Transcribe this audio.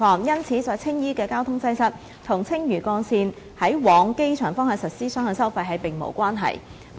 因此，在青衣的交通擠塞與青嶼幹線於往機場方向實施雙向收費並無關係。